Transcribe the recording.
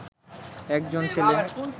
একজন ছেলে